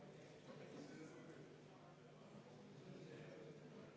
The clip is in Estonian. Nii et palun võtta seisukoht ja hääletada!